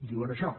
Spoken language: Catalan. diuen això